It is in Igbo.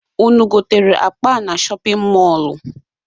Unu gotere akpa a na shọpịn mọọlụ?